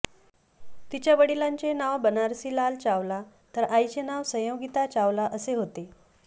तिच्या वडिलांचे नाव बनारसीलाल चावला तर आईचे नाव संयोगीता चावला असे होते